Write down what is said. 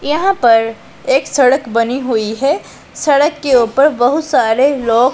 यहां पर एक सड़क बनी हुई है सड़क के ऊपर बहुत सारे लोग--